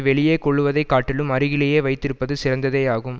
வெளியே கொள்ளுவதை காட்டிலும் அருகிலேயே வைத்திருப்பது சிறந்ததேயாகும்